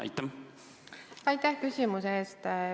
Aitäh küsimuse eest!